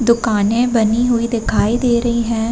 दुकानें बनी हुई दिखाई दे रही हैं।